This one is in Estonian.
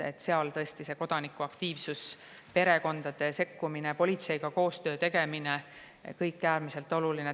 Seal on tõesti kodanikuaktiivsus, perekondade sekkumine ja politseiga koostöö tegemine äärmiselt oluline.